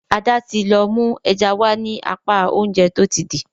Ada tí lọ mú ẹja wá ní apá Oúnjẹ tó ti dì.